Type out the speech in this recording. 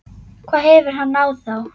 hvað hefur hann á þá?